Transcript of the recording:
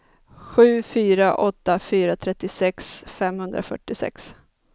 sju fyra åtta fyra trettiosex femhundrafyrtiosex